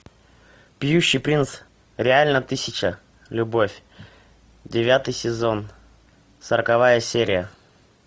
поющий принц реально тысяча любовь девятый сезон сороковая серия